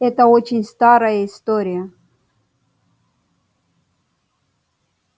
это очень старая история